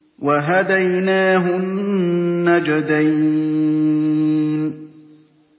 وَهَدَيْنَاهُ النَّجْدَيْنِ